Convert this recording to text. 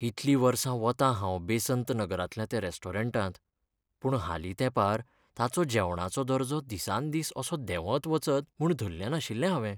इतलीं वर्सां वतां हांव बेसंत नगरांतल्या त्या रॅस्टोरंटांत, पूण हालीं तेंपार ताचो जेवणाचो दर्जो दिसान दीस असो देंवत वचत म्हूण धल्लें नाशिल्लें हावें.